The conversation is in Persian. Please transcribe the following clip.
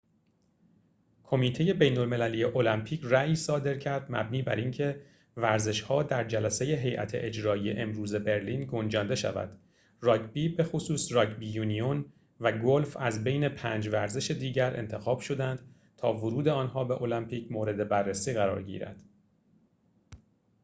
کمیته بین‌المللی المپیک رأیی صادر کرد مبنی بر اینکه ورزش‌ها در جلسه هیئت اجرایی امروز برلین گنجانده شود راگبی بخصوص راگبی یونیون و گلف از بین پنج ورزش دیگر انتخاب شدند تا ورود آنها به المپیک مورد بررسی قرار گیرد